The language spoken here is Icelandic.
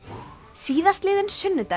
síðastliðinn sunnudagur